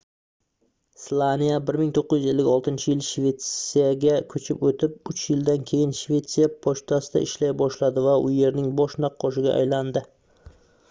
slaniya 1956-yil shvetsiyaga koʻchib oʻtib uch yildan keyin shvetsiya pochtasida ishlay boshladi va u yerning bosh naqqoshiga aylandi